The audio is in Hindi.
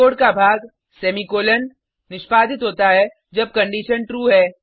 कोड का भाग सेमीकॉलन निष्पादित होता है जब कंडिशन ट्रू है